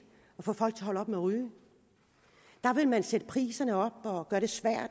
at få folk at holde op med ryge der vil man sætte priserne op og